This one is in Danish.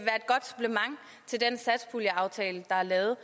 godt supplement til den satspuljeaftale der er lavet